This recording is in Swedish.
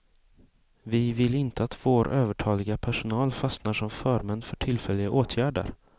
Vi vill inte att vår övertaliga personal fastnar som förmän för tillfälliga åtgärder.